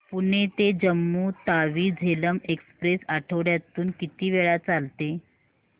पुणे ते जम्मू तावी झेलम एक्स्प्रेस आठवड्यातून किती वेळा चालते